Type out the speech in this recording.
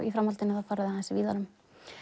í framhaldinu fara þau aðeins víðar um